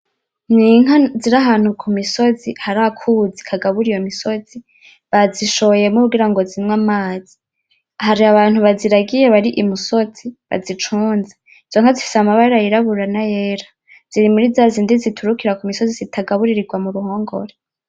N'inka ziri ahantu kumisozi hari akuzi kagaburi iyo misozi bazishoyemo kugirango zinwe amazi hari abantu baziragiye bari imusozi baziconze izonka zifise amabara yirabura nayera zirimurizazindi ziturukira ku misozi zitagaburirirwa muruhongore.